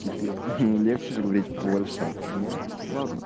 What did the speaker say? пипец легче же говорить польша не ладно